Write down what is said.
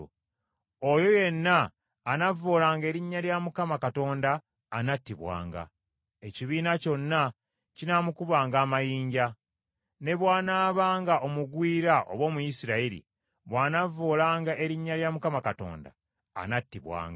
Oyo yenna anavvoolanga erinnya lya Mukama Katonda anattibwanga. Ekibiina kyonna kinaamukubanga amayinja. Ne bw’anaabanga omugwira oba Omuyisirayiri, bw’anavvoolanga Erinnya anattibwanga.